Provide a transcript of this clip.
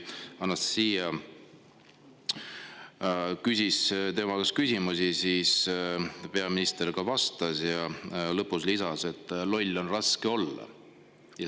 Anastassia küsis tema käest küsimusi ja peaminister ka vastas, aga lõppu lisas, et loll on raske olla.